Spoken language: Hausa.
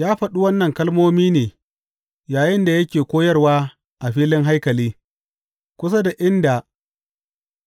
Ya faɗi waɗannan kalmomi ne yayinda yake koyarwa a filin haikali, kusa da inda